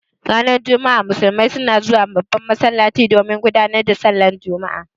Ranar juma'a musulmai suna zuwa babban masallaci domin gudanar da sallan juma'a.